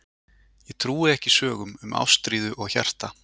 Ég trúi ekki sögum um ástríðu og hjarta.